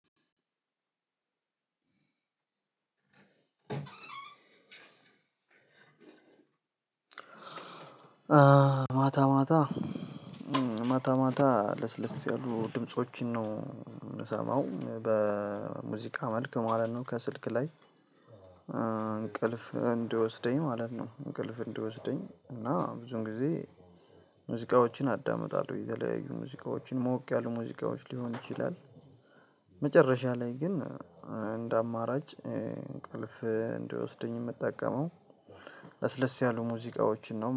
አዎ ማታ ማታ ማታ ማታ ለስለስ ያሉ ድምፆችን ነው የምሰማው በሙዚቃ መልክ ማለት ነው ከስልክ ላይ እንቅልፍ እንዲወሰደኝ ማለት ነው። እንቅልፍ እንደወሰደኝ እና ብዙን ጊዜ። ሙዚቃዎችን አዳምጣለሁ የተለያዩ ሙዚቃዎችን ሞቅ ያሉ ሙዚቃዎች ሊሆን ይችላል። መጨረሻ ላይ ግን እንደ አማራጭ እንቅልፍ እንዲወስደኝ የምጠቀመው። ለስለስ ያሉ ሙዚቃዎችን ነው